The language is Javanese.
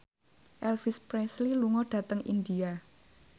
Elvis Presley lunga dhateng India